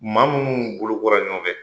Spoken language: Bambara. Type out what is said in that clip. Maa munnu bolo kora ɲɔgɔnfɛ